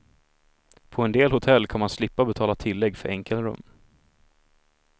På en del hotell kan man slippa betala tillägg för enkelrum.